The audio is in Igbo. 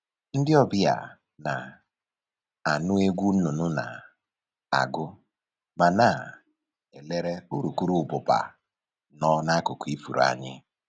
Ndị ọbịa na-anụ egwu nnụnụ na-agụ ma na-elere urukurụbụba nọ n'akụkụ ifuru anyị